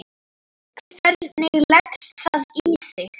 Hvernig leggst það í þig?